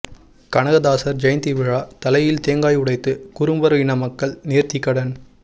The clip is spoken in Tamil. கனகதாசர் ஜெயந்தி விழா தலையில் தேங்காய் உடைத்து குரும்பர் இன மக்கள் நேர்த்திக்கடன்